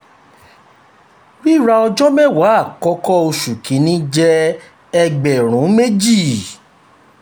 rira ọjọ mẹwa akọkọ ti oṣù kini jẹ two thousand.